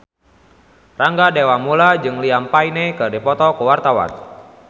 Rangga Dewamoela jeung Liam Payne keur dipoto ku wartawan